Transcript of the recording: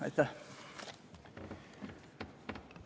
Aitäh!